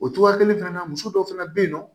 O cogoya kelen fana na muso dɔw fana bɛ yen nɔ